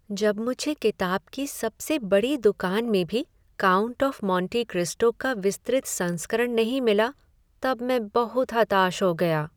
जब मुझे किताब की सबसे बड़ी दुकान में भी "काउंट ऑफ मोंटे क्रिस्टो" का विस्तृत संस्करण नहीं मिला तब मैं बहुत हताश हो गया।